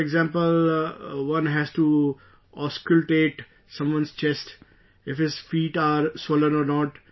For example, one has to auscultate someone's chest... if his feet are swollen or not